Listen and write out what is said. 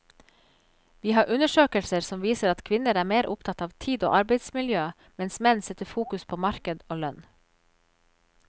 Vi har undersøkelser som viser at kvinner er mer opptatt av tid og arbeidsmiljø, mens menn setter fokus på marked og lønn.